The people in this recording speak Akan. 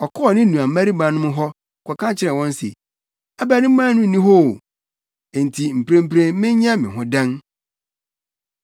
Ɔkɔɔ ne nuabarimanom no hɔ, kɔka kyerɛɛ wɔn se, “Abarimaa no nni hɔ oo! Enti mprempren menyɛ me ho dɛn?”